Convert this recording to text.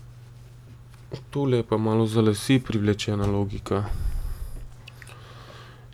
Tole je pa malo za lase privlečena logika.